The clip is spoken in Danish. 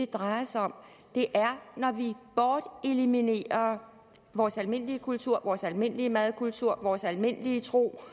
drejer sig om det er når vi borteliminerer vores almindelige kultur vores almindelige madkultur vores almindelige tro